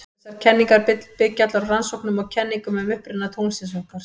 Þessar kenningar byggja allar á rannsóknum og kenningum um uppruna tunglsins okkar.